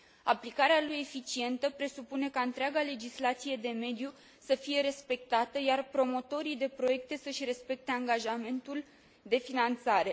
Aplicarea lui eficientă presupune ca întreaga legislație de mediu să fie respectată, iar promotorii de proiecte să își respecte angajamentul de finanțare.